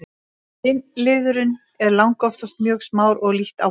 kynliðurinn er langoftast mjög smár og lítt áberandi